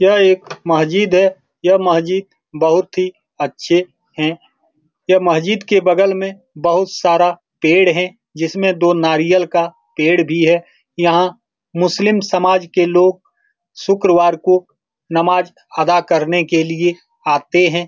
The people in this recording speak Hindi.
यह एक मस्जिद है यह मस्जिद बहुत ही अच्छे है यह मस्जिद के बगल में बहुत सारा पैर हैं जिसमें दो नारियल का पैर भी हैं यहाँ मुस्लिम समाज के लोग शुक्रवार को नवाज़ अदा करने के लिए आते हैं ।